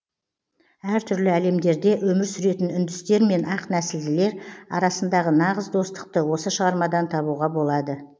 әр түрлі әлемдерде өмір сүретін үндістер мен ақ нәсілділер арасындағы нағыз достықты осы шығармадан табуға болады